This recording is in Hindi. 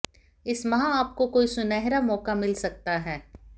इस माह आपको कोई सुनहरा मौका मिल सकता है